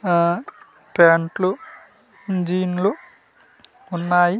ఆ ప్యాంట్లు జీన్లు ఉన్నాయి.